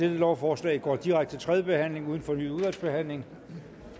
lovforslagene går direkte til tredje behandling uden fornyet udvalgsbehandling